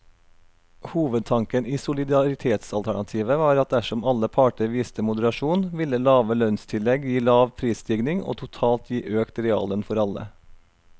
Hovedtanken i solidaritetsalternativet var at dersom alle parter viste moderasjon, ville lave lønnstillegg gi lav prisstigning og totalt gi økt reallønn for alle.